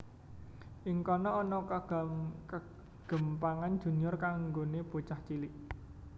Ing kana ana kegémpangan Junior kanggoné bocah cilik